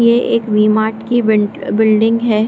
ये एक वी-मार्ट की बींट बिल्डिंग है।